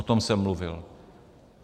- O tom jsem mluvil.